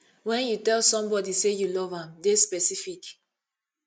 when you tell somebody sey you love am dey specific